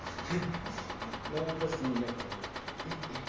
но он просто меня прёт